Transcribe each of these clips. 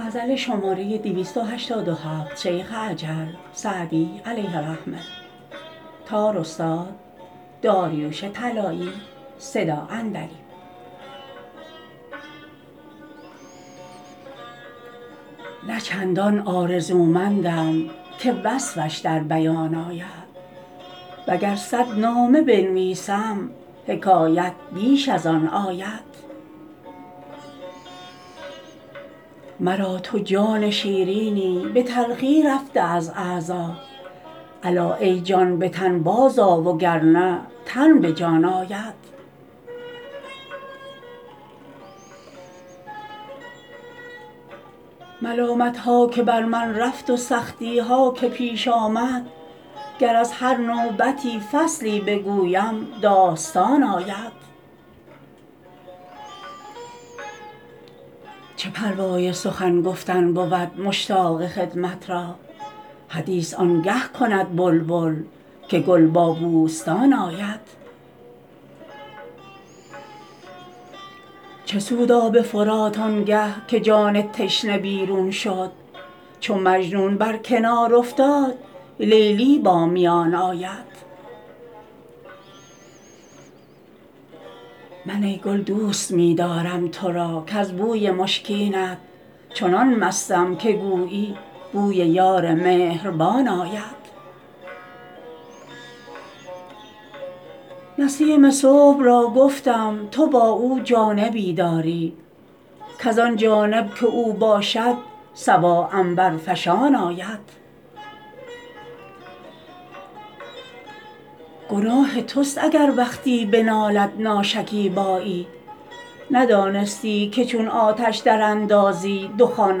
نه چندان آرزومندم که وصفش در بیان آید و گر صد نامه بنویسم حکایت بیش از آن آید مرا تو جان شیرینی به تلخی رفته از اعضا الا ای جان به تن بازآ و گر نه تن به جان آید ملامت ها که بر من رفت و سختی ها که پیش آمد گر از هر نوبتی فصلی بگویم داستان آید چه پروای سخن گفتن بود مشتاق خدمت را حدیث آن گه کند بلبل که گل با بوستان آید چه سود آب فرات آن گه که جان تشنه بیرون شد چو مجنون بر کنار افتاد لیلی با میان آید من ای گل دوست می دارم تو را کز بوی مشکینت چنان مستم که گویی بوی یار مهربان آید نسیم صبح را گفتم تو با او جانبی داری کز آن جانب که او باشد صبا عنبرفشان آید گناه توست اگر وقتی بنالد ناشکیبایی ندانستی که چون آتش دراندازی دخان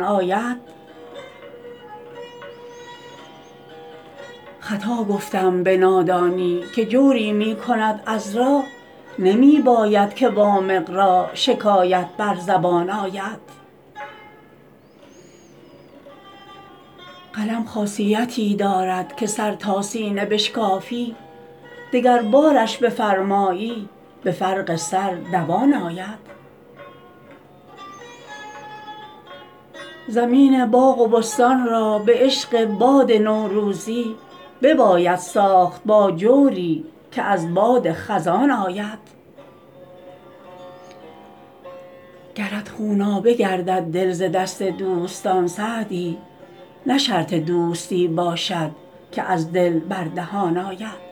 آید خطا گفتم به نادانی که جوری می کند عذرا نمی باید که وامق را شکایت بر زبان آید قلم خاصیتی دارد که سر تا سینه بشکافی دگربارش بفرمایی به فرق سر دوان آید زمین باغ و بستان را به عشق باد نوروزی بباید ساخت با جوری که از باد خزان آید گرت خونابه گردد دل ز دست دوستان سعدی نه شرط دوستی باشد که از دل بر دهان آید